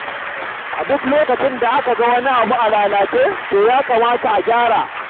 A duk lokacin da aka ga wani abu a lalace, to ya kamata a gyara.